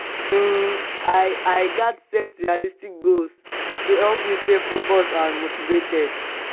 um i i gats set realistic goals to help me stay focused and motivated.